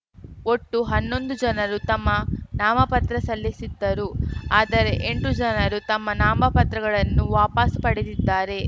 ಒಟ್ಟು ಹನ್ನೊಂದು ಜನರು ತಮ್ಮ ನಾಮಪತ್ರ ಸಲ್ಲಿಸಿದ್ದರು ಆದರೆ ಎಂಟು ಜನರು ತಮ್ಮ ನಾಮಪತ್ರಗಳನ್ನು ವಾಪಾಸು ಪಡೆದಿದ್ದಾರೆ